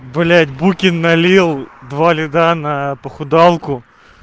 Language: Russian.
блять букин налил два лида на похудалку